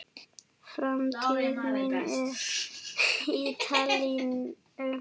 Framtíð mín á Ítalíu?